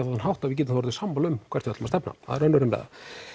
þann hátt að við getum orðið sammála um hvert við ætlum að stefna það er önnur umræða